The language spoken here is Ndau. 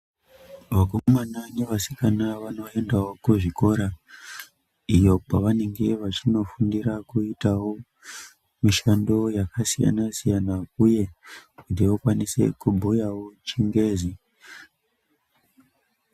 Vakomana nevanasikana vanoendawo kuzvikora iyo kwavanenge vachinofundira kuitawo mishando yakasiyana-siyana uye kuti vakwanise kubhuyawo chingezi.